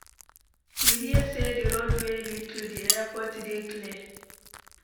You hear say di road wey lead to di airport dey clear?